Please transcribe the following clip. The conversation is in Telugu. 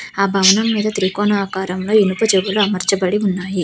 ఆ భవనం మీద త్రికోణ ఆకారం లో ఇనుప జోగులు అమర్చబడి ఉన్నాయి.